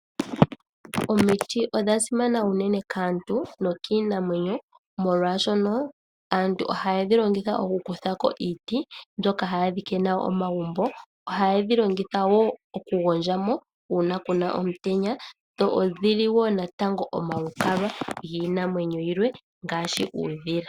Omiti odha simana unene kaantu nokiinamwenyo molwaashoka aantu ohaya kuthako iiti ndhoka hadhi longithwa okudhika omagumbo .Ohayedhi longitha wo okugondjamo uuna kuna omutenya. Dho odhili wo omalukalwa giinamwenyo yilwe ngaashi uudhila.